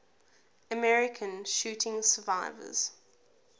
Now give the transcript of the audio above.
american shooting survivors